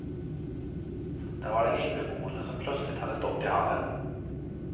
Det var den inneboende som plötsligt hade stått i hallen.